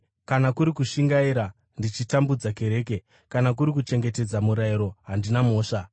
kana kuri kushingaira, ndichitambudza kereke; kana kuri kuchengetedza murayiro, handina mhosva.